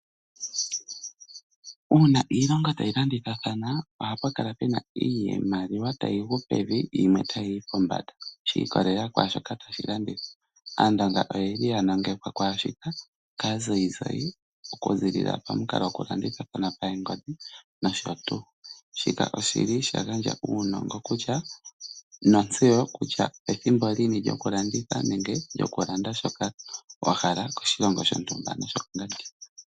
Uuna iilongo tayi landithathana ohapu kala pena iimaliwa tayi gu pevi , yimwe tayi yi pombanda, shi ikololela kwaashoka tashi landithwa. Aandonga oyendji ya langekwa kwaashika kaazayizayi okuzilila pamukalo gwokulanditha pangodhi nosho tuu. Shika oshili sha gandja uunongo kutya , notseyo kutya ethimbo lini lyokulanditha nenge lyokulanda shoka wa hala koshilongo shontumba.